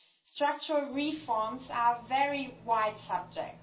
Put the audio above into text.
Structural reforms are a very wide subject.